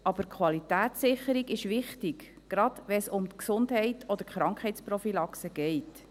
Aber die Qualitätssicherung ist wichtig, gerade wenn es um die Gesundheit oder die Krankheitsprophylaxe geht.